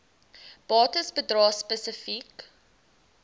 bates bedrae spesifiek